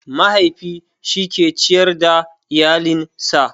Mahaifi shi ke ciyar da iyalen sa